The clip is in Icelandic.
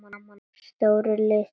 Stórir, litlir.